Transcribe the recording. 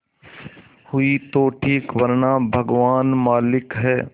हुई तो ठीक वरना भगवान मालिक है